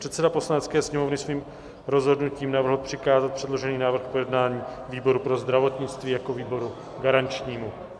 Předseda Poslanecké sněmovny svým rozhodnutím navrhl přikázat předložený návrh k projednání výboru pro zdravotnictví jako výboru garančnímu.